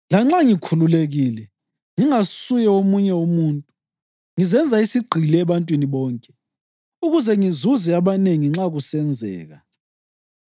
Lanxa ngikhululekile ngingasuye womunye umuntu, ngizenza isigqili ebantwini bonke, ukuze ngizuze abanengi nxa kusenzeka.